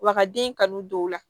Wa ka den kanu don o la